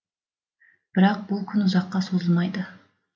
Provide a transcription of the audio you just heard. бірақ бұл күн ұзаққа созылмайды